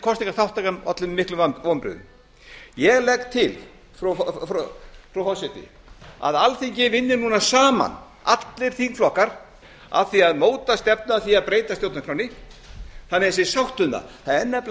kosningaþátttakan olli mér miklum vonbrigðum ég legg til frú forseti að alþingi vinni núna saman allir þingflokkar að því að móta stefnu að því að breyta stjórnarskránni þannig að sé sátt um það það er nefnilega